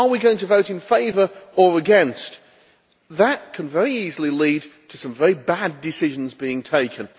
Are we going to vote in favour or against? That can very easily lead to some very bad decisions being taken.